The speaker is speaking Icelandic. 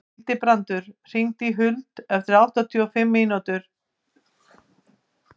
Hildibrandur, hringdu í Huld eftir áttatíu og fimm mínútur.